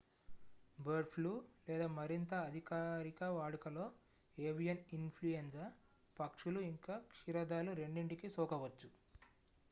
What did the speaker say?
bird flu లేదా మరింత అధికారిక వాడుకలో ఏవియన్ ఇన్ ఫ్లూయెంజా పక్షులు ఇంక క్షీరదాలు రెండింటికీ సోకవచ్చు